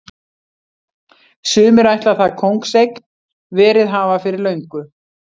Sumir ætla það kóngseign verið hafa fyrir löngu.